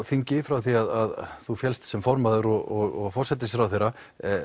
þingi frá því að þú féllst sem formaður og forsætisráðherra